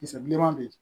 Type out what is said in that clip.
Kisɛ bilenman bɛ yen